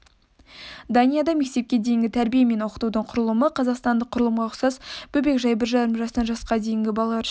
данияда мектепке дейінгі тәрбие мен оқытудың құрылымы қазақстандық құрылымға ұқсас бөбекжай бір жарым жастан жасқа дейінгі балалар үшін